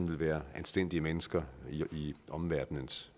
vil være anstændige mennesker i omverdenens